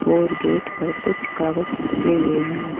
और गेट पर कुछ कागज चिपके हुए हैं।